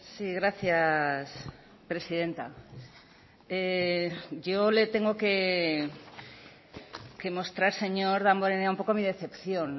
sí gracias presidenta yo le tengo que mostrar señor damborenea un poco mi decepción